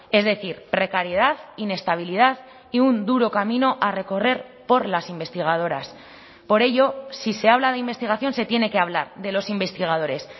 es decir precariedad inestabilidad y un duro camino a recorrer por las investigadoras por ello si se habla de investigación se tiene que hablar de los investigadores